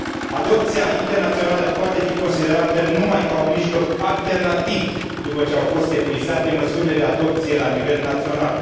Adopția internațională poate fi considerată numai ca un mijloc alternativ, după ce au fost epuizate măsurile de adopție la nivel național.